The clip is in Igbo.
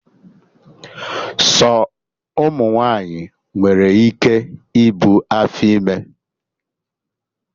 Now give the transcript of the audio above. Sọ ụmụ nwaanyị nwere ike ibu afọ ime